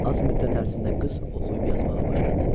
Az müddət ərzində qız oxuyub-yazmağa başladı.